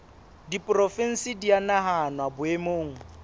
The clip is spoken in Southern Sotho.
diporofensi di a nahanwa boemong